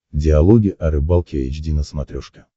диалоги о рыбалке эйч ди на смотрешке